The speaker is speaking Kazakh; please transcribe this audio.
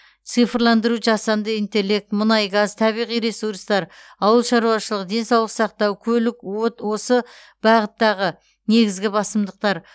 цифрландыру жасанды интеллект мұнай газ табиғи ресурстар ауыл шаруашылығы денсаулық сақтау көлік от осы бағыттағы негізгі басымдықтар